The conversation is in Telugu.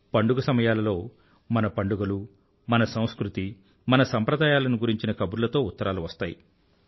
పండుగ సమయాలలో మన పండుగలు మన సంస్కృతి మన సంప్రదాయాల గురించిన కబుర్లతో ఉత్తరాలు వస్తాయి